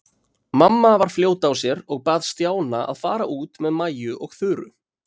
Mamma var fljót á sér og bað Stjána að fara út með Maju og Þuru.